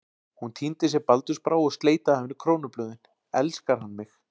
Hún tíndi sér baldursbrá og sleit af henni krónublöðin: elskar hann mig?